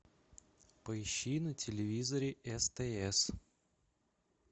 поищи на телевизоре стс